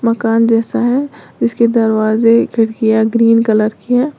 मकान जैसा है इसके दरवाजे खिड़कियां ग्रीन कलर की है।